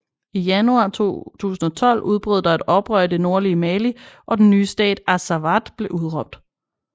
I januar 2012 udbrød der et oprør i det nordlige Mali og den nye stat Azawad blev udråbt